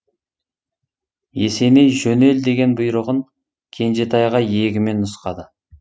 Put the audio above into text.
есеней жөнел деген бұйрығын кенжетайға иегімен нұсқады